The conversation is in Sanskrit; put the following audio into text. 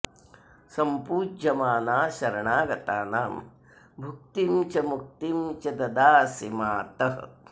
सम्पूज्यमाना शरणागतानां भुक्तिं च मुक्तिं च ददासि मातः